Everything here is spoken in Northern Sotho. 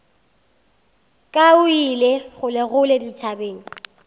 ka o ile kgolekgole dithabeng